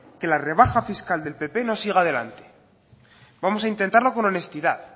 que la rebaja fiscal del pp no siga adelante vamos a intentarlo con honestidad